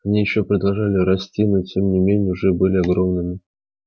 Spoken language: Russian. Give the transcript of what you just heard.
они ещё продолжали расти но тем не менее уже были огромными